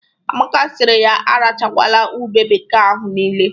Amaka siri ya arachakwala ube bekee ahụ niile.